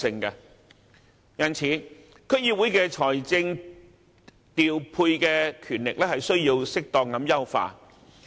因此，區議會的財政調配權力需要適當優化。